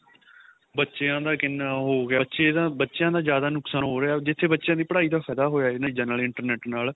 ਬੱਚਿਆਂ ਦਾ ਕਿੰਨਾ ਉਹ ਹੋਗਿਆ ਬੱਚੇ ਦਾ ਬੱਚਿਆਂ ਦਾ ਜਿਆਦਾ ਨੁਕਸਾਨ ਹੋ ਰਿਹਾ ਜਿੱਥੇ ਬੱਚਿਆਂ ਦੀ ਪੜਾਈ ਦਾ ਹੋਇਆ ਏ ਇਹਨਾ ਚੀਜਾ ਨਾਲ internet ਨਾਲ